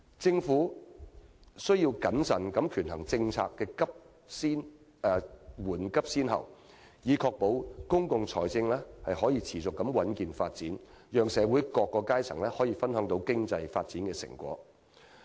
政府宜謹慎權衡政策的緩急先後，以確保公共財政能夠持續穩健發展，讓社會各階層分享經濟發展的成果。